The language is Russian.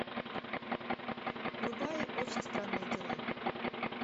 врубай очень странные дела